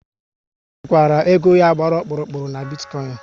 Ọ chekwara ego ya gbara ọkpụrụkpụ n'bitikoin